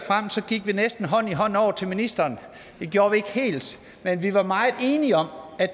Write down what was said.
vi næsten gik hånd i hånd over til ministeren det gjorde vi ikke helt men vi var meget enige om at